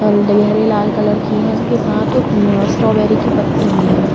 हरे लाल कलर की हैं। इसके साथ म्म स्ट्रॉबेरी की पत्ती भी हैं।